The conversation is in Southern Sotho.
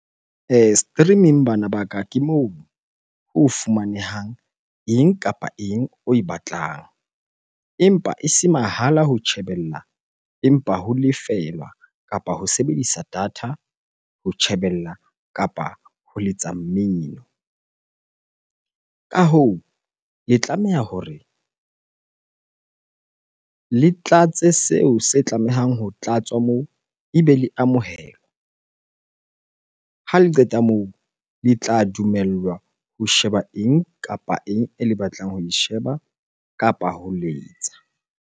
Streaming bana baka ke moo ho fumanehang eng kapa eng oe batlang. Empa e se mahala ho tjhebella, empa ho lefelwa kapa ho sebedisa data ho tjhebella kapa ho letsa mmino. Ka hoo, le tlameha hore le tlatse seo se tlamehang ho tlatswa moo, ebe le amohelwa. Ha le qeta moo, le tla dumellwa ho sheba eng kapa eng ele batlang ho e sheba kapa ho letsa.